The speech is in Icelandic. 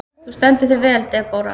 Þú stendur þig vel, Debóra!